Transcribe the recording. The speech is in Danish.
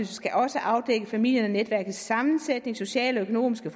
skal også afdække familiens sammensætning sociale og økonomiske